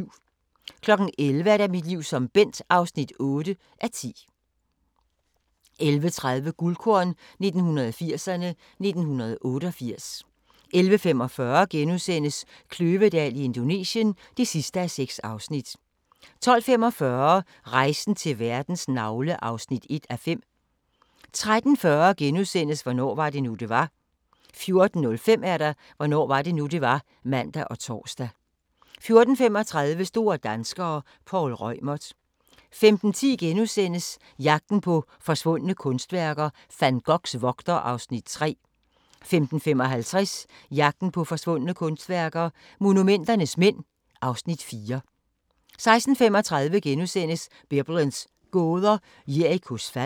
11:00: Mit liv som Bent (8:10) 11:30: Guldkorn 1980'erne: 1988 11:45: Kløvedal i Indonesien (6:6)* 12:45: Rejsen til verdens navle (1:5) 13:40: Hvornår var det nu, det var? * 14:05: Hvornår var det nu, det var? (man og tor) 14:35: Store danskere - Poul Reumert 15:10: Jagten på forsvundne kunstværker - Van Goghs vogter (Afs. 3)* 15:55: Jagten på forsvundne kunstværker – Monumenternes mænd (Afs. 4) 16:35: Biblens gåder – Jerikos fald *